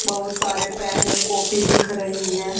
बहुत सारे पेन और कॉपी दिख रहे हैं।